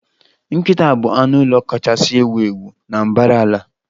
Nkịta bụ anụ ụlọ kachasị ewu ewu na mbara ala